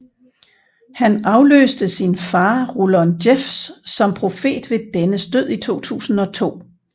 Han afløste sin far Rulon Jeffs som profet ved dennes død i 2002